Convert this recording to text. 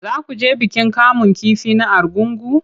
Za ku je bikin kamun kifi na Argungu?